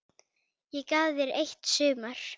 Ég gaf þér eitt sumar.